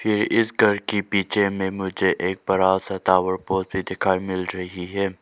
ये इस घर के पीछे में मुझे एक बड़ा सा टावर पोल दिखाई मिल रही है।